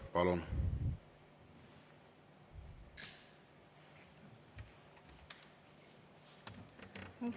Palun!